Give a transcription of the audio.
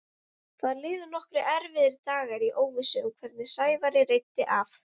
Það liðu nokkrir erfiðir dagar í óvissu um hvernig Sævari reiddi af.